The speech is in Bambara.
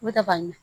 U bɛ ka ban